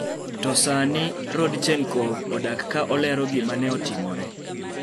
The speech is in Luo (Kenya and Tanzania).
To sani, Rodchenkov odak ka olero gima ne otimore.